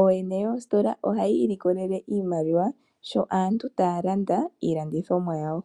Ooyene yoositola ohaya ilikolele iimaliwa sho aantu taya landa iilandithomwa yawo.